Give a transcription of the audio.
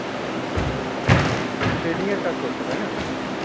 আচ্ছা, trading এর কাজ করছো, তাই না